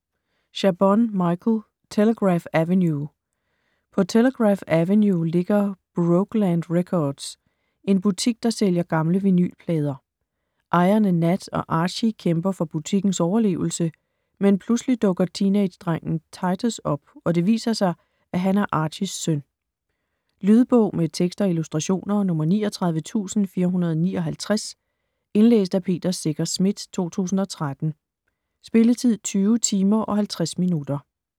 Chabon, Michael: Telegraph Avenue På Telegraph Avenue ligger Brokeland Records - en butik, der sælger gamle vinylplader. Ejerne Nat og Archy kæmper for butikkens overlevelse, men pludselig dukker teenagedrengen Titus op, og det viser sig, at han er Archys søn. Lydbog med tekst og illustrationer 39459 Indlæst af Peter Secher Schmidt, 2013. Spilletid: 20 timer, 50 minutter.